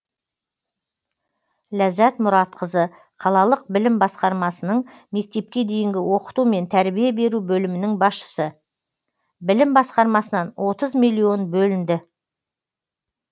ләззат мұратқызы қалалық білім басқармасының мектепке дейінгі оқыту мен тәрбие беру бөлімінің басшысы білім басқармасынан отыз миллион бөлінді